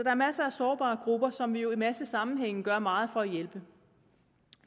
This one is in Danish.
er masser af sårbare grupper som vi jo i en masse sammenhænge gør meget for at hjælpe